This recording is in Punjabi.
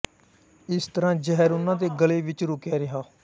ਇਸ ਤਰ੍ਹਾਂ ਜ਼ਹਿਰ ਉਹਨਾਂ ਦੇ ਗਲੇ ਵਿੱਚ ਰੁਕਿਆ ਰਿਹਾ